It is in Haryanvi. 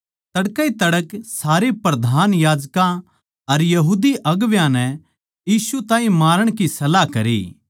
जिब तड़कै ए तड़कै तो सारे प्रधान याजकां अर यहूदी अगुवां नै यीशु ताहीं मारण की सलाह करी